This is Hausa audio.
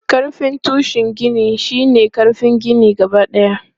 Ƙarfin tushen gini shi ne ƙarfin ginin gabadaya.